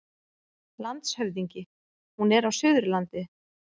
LANDSHÖFÐINGI: Hún er á Suðurlandi.